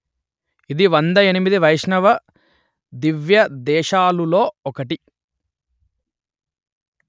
ఇది వంద ఎనిమిది వైష్ణవ దివ్యదేశాలు లో ఒకటి